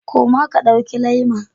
Koma ka ɗauki Le'ma.